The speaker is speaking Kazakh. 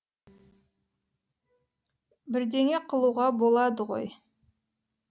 бірдеңе қылуға болады ғой